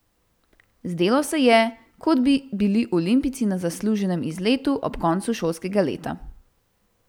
Zdelo se je, kot bi bili olimpijci na zasluženem izletu ob koncu šolskega leta.